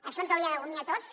això ens hauria d’unir a tots